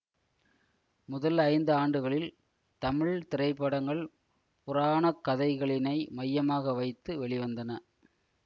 முதல் ஐந்து ஆண்டுகளில் தமிழ் திரைப்படங்கள் புராணக்கதைகளினை மையமாக வைத்து வெளிவந்தன